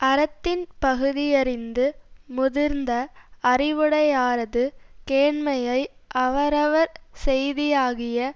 அறத்தின் பகுதியறிந்து முதிர்ந்த அறிவுடையாரது கேண்மையை அவரவர் செய்தியாகிய